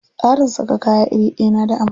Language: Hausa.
Tsarin saka kaya iri ɗaya na da amfani.